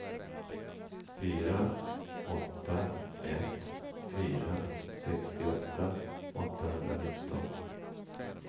fyra åtta ett fyra sextioåtta åttahundranitton